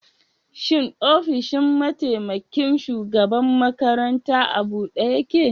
Shin ofishin mataimaƙin shugaɓan maƙaranta a buɗe yake?